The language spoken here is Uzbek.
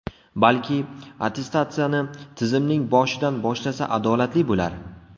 Balki, attestatsiyani tizimning boshidan boshlasa adolatli bo‘lar.